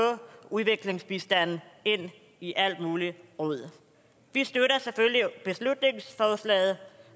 udviklingsbistanden ind i alt muligt rod vi støtter selvfølgelig beslutningsforslaget